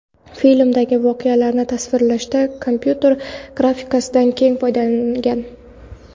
Filmdagi voqealarni tasvirlashda kompyuter grafikasidan keng foydalanilgan.